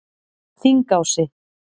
Þingási